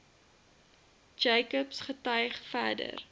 jacobs getuig verder